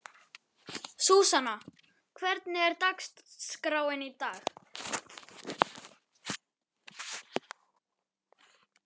Súsanna, hvernig er dagskráin í dag?